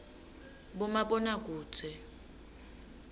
bomabonakudze